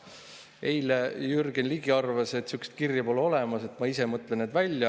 Eile Jürgen Ligi arvas, et sihukest kirja pole olemas ja et ma ise mõtlen need välja.